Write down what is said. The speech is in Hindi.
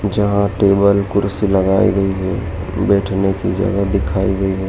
जहां टेबल कुर्सी लगाई गयी है बैठने की जगह दिखाई दे रही।